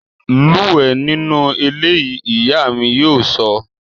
Lúwẹ̀ẹ́ nínú eléyìí! Ìyá mi yóò sọ